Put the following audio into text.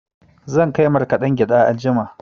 Zan kai markaɗen gyaɗa anjima.